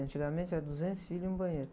Antigamente eram duzentos filhos e um banheiro.